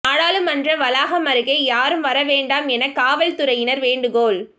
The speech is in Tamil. நாடாளுமன்ற வளாகம் அருகே யாரும் வர வேண்டாம் என காவல்துறையினர் வேண்டுகோள்